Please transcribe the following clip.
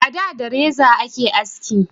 A da da reza a ke haski